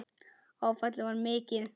Áfallið var mikið.